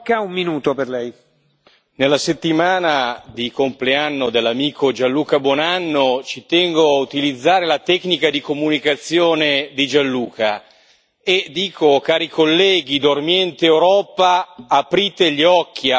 Signor Presidente, onorevoli colleghi, nella settimana del compleanno dell'amico Gianluca Buonanno ci tengo a utilizzare la tecnica di comunicazione di Gianluca e dico, cari colleghi, dormiente Europa, aprite gli occhi!